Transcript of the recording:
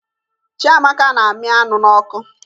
Chiamaka na-amị anụ n'ọkụ